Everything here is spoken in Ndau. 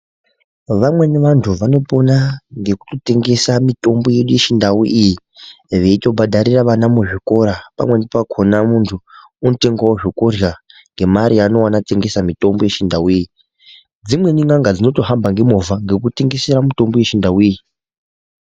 Vamweni vanthu vanopona ngekutotengesa mitombo yedu yechindau iyi veitobhadharira vana muzvikora pamweni pakhona munthu unotengawo zvekurhya ngemare yaanowana atengesa mitombo yechindau iyi, dzimweni n'anga dzinotohamba ngemovha ngekutengesa mitombo yechindau iyi.